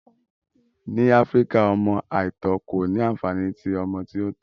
Ni Afirika, ọmọ aitọ ko ni anfani ti ọmọ ti o tọ